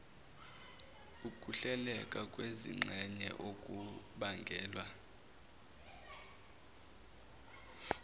ukuhleleka kwezingxenye okubangelwa